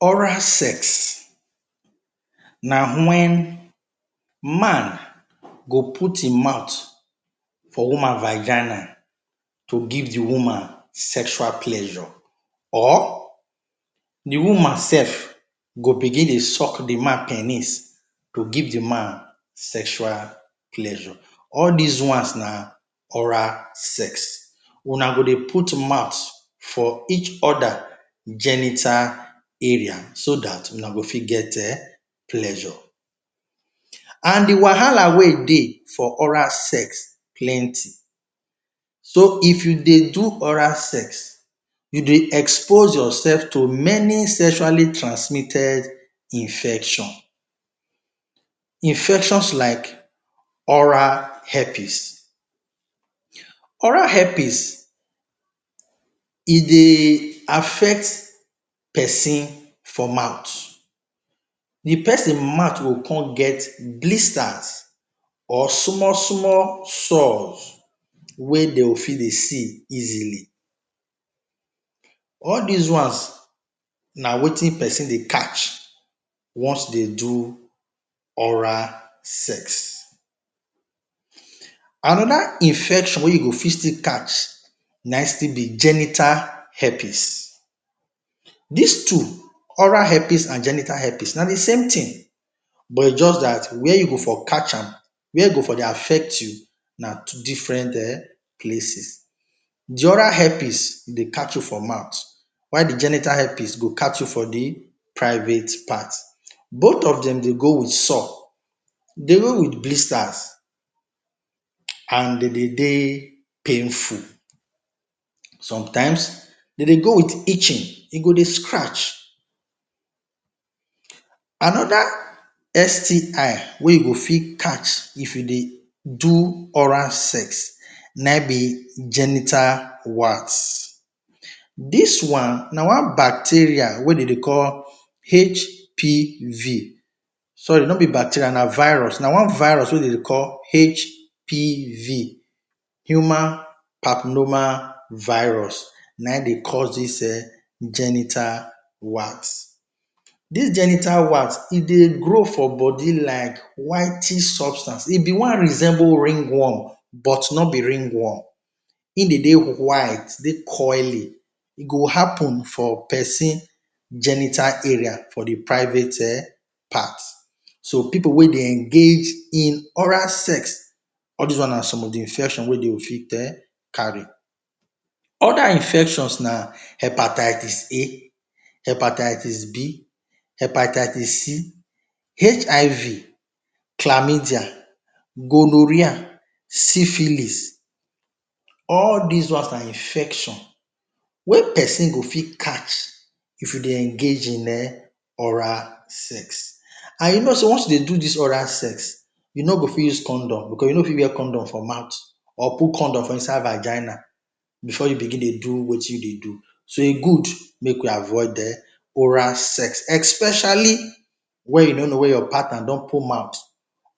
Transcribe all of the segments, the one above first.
Oral sex na wen, man go put hin mouth for woman vagina to give de woman sexual pleasure or de woman sef go begin dey suck de man penis to give de man sexual pleasure all dis ones na oral sex, una go dey put mouth for each oda genital area so dat una go fit get um pleasure, and de wahala wey dey for oral sex plenty, so if u dey do oral sex, u dey expose yourself to many sexually transmitted infection, infection like oral hepis, oral hepis e dey affect persin for mouth, de persin mouth go con get blisters or small small sours wey dem fit dey see easily, all those ones na Wetin persin dey catch once dem do oral sex, another infection wey u go fit still catch na still b genital hepis, dis two oral hepis and genital hepis na thesame thing jus dat where u go for catch am, where e go for dey affect you na different um places, de oral hepis e dey catch u for mouth while de genital hepis go catch you for de private part, both of dem dey go with sour, dealing with blisters and dem dey dey painful, sometimes dem dey go with itching, e go dey scratch another STI wey u go fit catch if you dey do oral sex na hin b genital wart, dis one na one bacterial wey dem dey call HPV, sorry no b bacteria na virus, na one virus wey dem dey call HPV, Human pacnomal virus na hin dey cause dis um genital wax, dis genital wax e dey grow for body like whitish substance, e bin wan resemble ringworm but no b ringworm, hin dey dey white dey curl e go happen for persin genital area for de private um part, so pipu wey dey engage in oral sex all dis ones na some of de infections wey dem go fit um carry. Other infections na hepatitis A, hepatitis B, hepatitis C, HIV,, gonoria, siphilis, all dis one na infection wey persin go fit catch if u dey engage in um oral sex, and you know sey once u dey do dis oral sex u no go fit use condom, because u no fit wear condom for mouth or put condom for inside vagina before you begin dey do Wetin u dey do, so e good make we avoid um oral sex, especially wen u no no where your partner don put mouth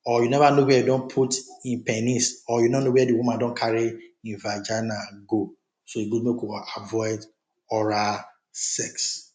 or u never know where e don put him penis or you no no where de woman don carry hin vagina go, so e good make we avoid oral sex.